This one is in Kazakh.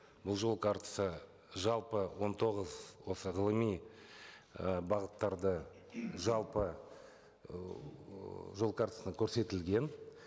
бұл жол картасы жалпы он тоғыз осы ғылыми і бағыттарды жалпы ыыы жол картасында көрсетілген